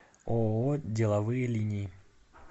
ооо деловые линии